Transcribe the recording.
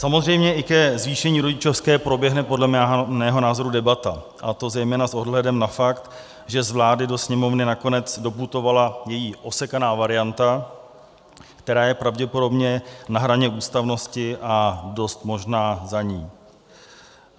Samozřejmě i ke zvýšení rodičovské proběhne podle mého názoru debata, a to zejména s ohledem na fakt, že z vlády do Sněmovny nakonec doputovala její osekaná varianta, která je pravděpodobně na hraně ústavnosti a dost možná za ní.